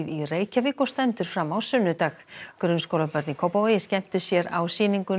í Reykjavík og stendur fram á sunnudag grunnskólabörn í Kópavogi skemmtu sér á sýningunni